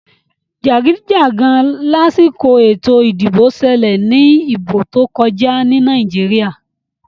Jagidijagan lásìkò ètò ìdìbò ṣẹlẹ ní ìbò tó kọjá ní Nàìjíríà.